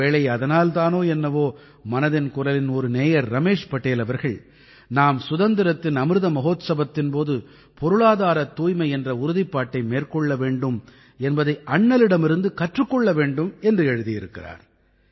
ஒருவேளை அதனால் தானோ என்னவோ மனதின் குரலின் ஒரு நேயர் ரமேஷ் படேல் அவர்கள் நாம் சுதந்திரத்தின் அமிர்த மஹோத்சவத்தின் போது பொருளாதாரத் தூய்மை என்ற உறுதிப்பாட்டை மேற்கொள்ள வேண்டும் என்பதை அண்ணலிடமிருந்து கற்றுக் கொள்ள வேண்டும் என்று எழுதியிருக்கிறார்